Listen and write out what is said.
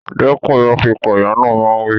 Dẹ́kun ìrọ́ pípa! Ìyá náà máa ń wí.